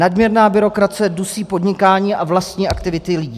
Nadměrná byrokracie dusí podnikání a vlastní aktivity lidí.